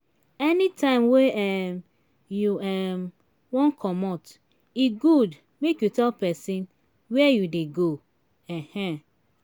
anytime wey um you um wan commot e good make you tell pesin where you dey go. um